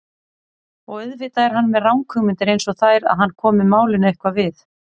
Og auðvitað er hann með ranghugmyndir einsog þær að hann komi málinu eitthvað við.